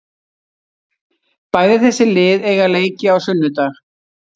Bæði þessi lið eiga leiki á sunnudag.